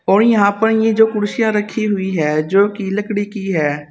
और यहां पर ये जो कुर्सियां रखी हुई है जो की लकड़ी की है।